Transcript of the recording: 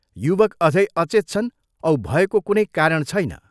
युवक अझै अचेत छन् औ भयको कुनै कारण छैन।